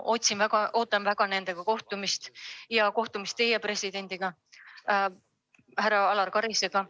Ma ootan väga kohtumist teie presidendi härra Alar Karisega.